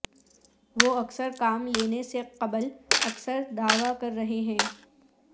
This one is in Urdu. وہ اکثر کام لینے سے قبل اکثر دعوی کر رہے ہیں